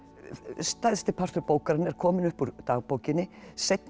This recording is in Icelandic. stærsti partur bókarinnar er kominn upp úr dagbókinni seinni